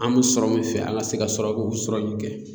An mɛ sɔrɔ min fɛ an ka se ka sɔrɔ sɔrɔ min kɛ.